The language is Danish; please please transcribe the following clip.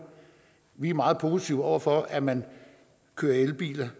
vi er meget positive over for at man kører i elbiler